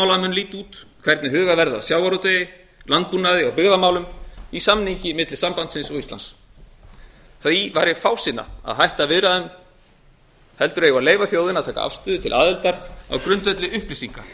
líta út hvernig hugað verði að sjávarútvegi landbúnaði og byggðamálum í samningi mikli sambandsins og íslands því væri fásinna að hætta viðræðum heldur eigum við að leyfa þjóðinni að taka afstöðu til aðildar á grundvelli upplýsinga